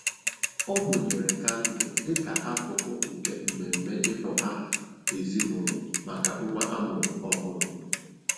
Ọ mụnyere kandụl dịka akụkụ nke mmemme ịkpọ aha ezinụlọ maka nwa amụrụ ọhụrụ.